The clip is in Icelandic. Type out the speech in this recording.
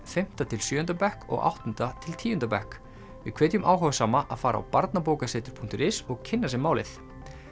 fimmta til sjöunda bekk og áttunda til tíunda bekk við hvetjum áhugasama að fara á barnabokasetur punktur is og kynna sér málið